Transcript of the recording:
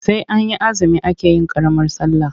Sai an yi azumi ake yin ƙaramar sallah.